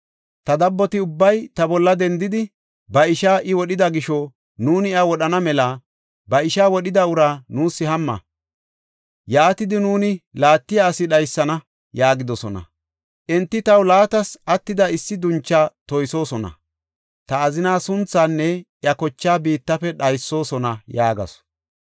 Ta dabboti ubbay ta bolla dendidi, ‘Ba ishaa I wodhida gisho nuuni iya wodhana mela ba ishaa wodhida uraa nuus hamma; yaatidi nuuni laattiya asi dhaysana’ yaagidosona. Enti taw laatas attida issi duncha toysoosona; ta azinaa sunthaanne iya kochaa biittafe dhaysoosona” yaagasu.